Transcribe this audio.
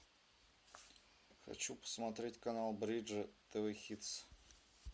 хочу посмотреть канал бридж тв хитс